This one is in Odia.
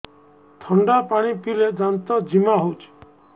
ଥଣ୍ଡା ପାଣି ପିଇଲେ ଦାନ୍ତ ଜିମା ହଉଚି